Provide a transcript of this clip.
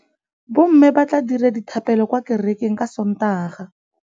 Bommê ba tla dira dithapêlô kwa kerekeng ka Sontaga.